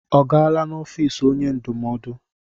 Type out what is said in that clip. Ọ gaala n'ọfịs onye ndụmọdụ?